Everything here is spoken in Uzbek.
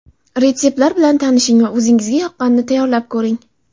Retseptlar bilan tanishing va o‘zingizga yoqqanini tayyorlab ko‘ring.